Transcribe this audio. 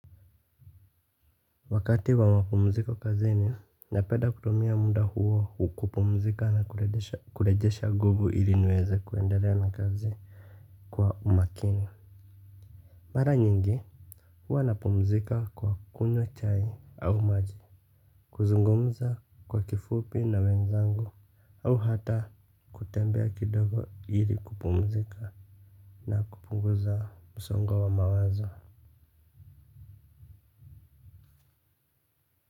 Wakati wa mapumziko kazini, napenda kutumia muda huo kupumzika na kurejesha nguvu ili niweze kuendelea na kazi kwa umakini. Mara nyingi, huwa napumzika kwa kunywa chai au maji, kuzungumza kwa kifupi na wenzangu, au hata kutembea kidogo ili kupumzika na kupunguza msongo wa mawazo.